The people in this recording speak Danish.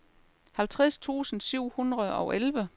halvtreds tusind syv hundrede og elleve